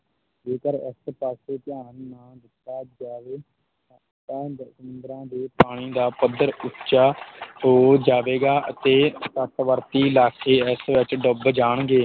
ਜੇਕਰ ਇਸ ਪਾਸੇ ਧਿਆਨ ਨਾ ਦਿੱਤਾ ਜਾਵੇ ਤਾਂ ਸੰਮੂਦਰਾਂ ਦੇ ਪਾਣੀ ਦਾ ਪੱਧਰ ਉੱਚਾ ਹੋ ਜਾਵੇਗਾ ਅਤੇ ਤੱਟਵਰਤੀ ਇਲਾਕੇ ਇਸ ਵਿੱਚ ਡੁੱਬ ਜਾਣਗੇ।